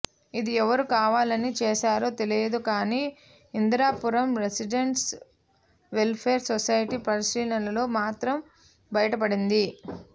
ఇది ఎవరు కావాలని చేశారో తెలియదు కానీ ఇందిరాపురం రెసిడెంట్స్ వెల్ఫేర్ సొసైటీ పరిశీలనలో మాత్రం బయటపడింది